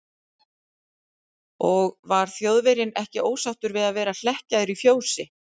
Og var Þjóðverjinn ekki ósáttur við að vera hlekkjaður í fjósi?